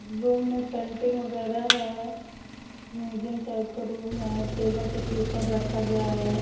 Room में painting वगेरा है मुसियम टाइप का रूम है टेबल पे पेपर रखा गया है।